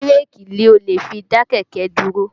Bírèkì ni o lè fi dá kẹ̀kẹ́ dúró